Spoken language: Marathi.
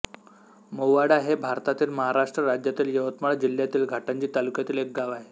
मोवाडा हे भारतातील महाराष्ट्र राज्यातील यवतमाळ जिल्ह्यातील घाटंजी तालुक्यातील एक गाव आहे